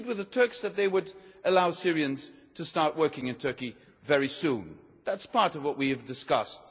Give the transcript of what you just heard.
do? We agreed with the Turks that they would allow Syrians to start working in Turkey very soon. That is part of what we have discussed.